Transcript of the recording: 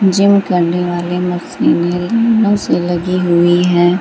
Gym करने वाले मशीने मशीन लगी हुई है।